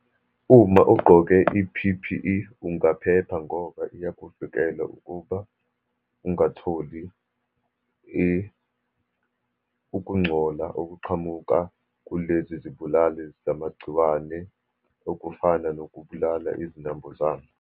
Uma ugqoke i-P_P_E ungaphepha ngoba iyakuvikela ukuba ungatholi ukungcola okuqhamuka kulezi zibulalizamagciwane okufana nokubulala izinambuzane.